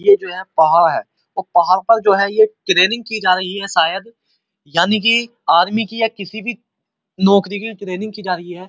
ये जो पहाड़ है ओ पहाड़ पे जो है ये ट्रैंनिंग की जा रही है। शायद यानी की आर्मी की या किसी भी नौकरी की ट्रैंनिंग की जा रही है।